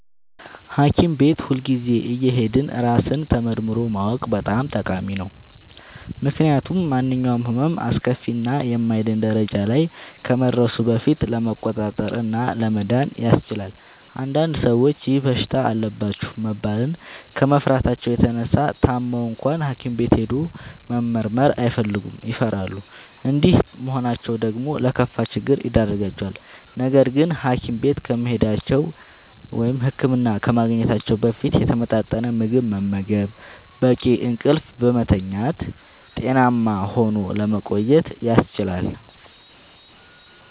ሀኪም ቤት ሁልጊዜ እየሄዱ ራስን ተመርምሮ ማወቅ በጣም ጠቃሚ ነው። ምክንያቱም ማንኛውም ህመም አስከፊ እና የማይድን ደረጃ ላይ ከመድረሱ በፊት ለመቆጣጠር እና ለመዳን ያስችላል። አንዳንድ ሰዎች ይህ በሽታ አለባችሁ መባልን ከመፍራታቸው የተነሳ ታመው እንኳን ሀኪም ቤት ሄዶ መመርመር አይፈልጉም ይፈራሉ። እንዲህ መሆናቸው ደግሞ ለከፋ ችግር ይዳርጋቸዋል። ነገርግን ሀኪም ቤት ከመሄዳቸው(ህክምና ከማግኘታቸው) በፊት የተመጣጠነ ምግብ በመመገብ፣ በቂ እንቅልፍ በመተኛት ጤናማ ሆኖ ለመቆየት ያስችላል።